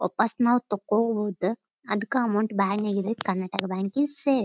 ವಾಪಾಸ್ ನಾವ್ ತಾಕೋಬಹುದು ಅದಕ್ಕ ಅಕೌಂಟ್ ಬ್ಯಾನ್ ಆಗಿದೆ ಕರ್ನಾಟಕ ಬ್ಯಾಂಕ್ ಐಸ್ ಸೇಫ್ --